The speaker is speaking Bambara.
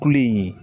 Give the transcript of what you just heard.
Kule in ye